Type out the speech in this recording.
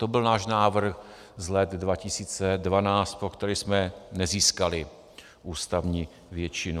To byl náš návrh z let 2012, pro který jsme nezískali ústavní většinu.